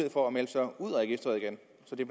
for at melde sig ud af registeret igen så det